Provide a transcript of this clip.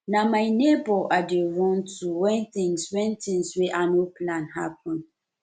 na my nebor i dey run to wen tins wen tins wey i no plan happen